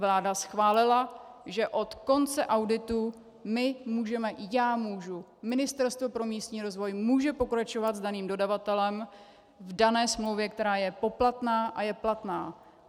Vláda schválila, že od konce auditu my můžeme - já můžu - Ministerstvo pro místní rozvoj může pokračovat s daným dodavatelem v dané smlouvě, která je poplatná a je platná.